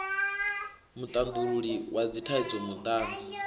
mutandululi wa dzithaidzo muṱani n